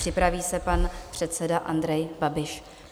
Připraví se pan předseda Andrej Babiš.